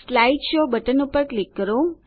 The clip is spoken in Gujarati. સ્લાઇડ શો બટન પર ક્લિક કરો